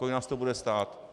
Kolik nás to bude stát?